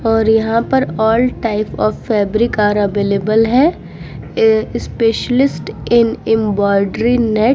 और यहाँ पर all type of fabric are available है। Specialist in embroidery net --